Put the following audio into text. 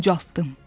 Ucaltdım.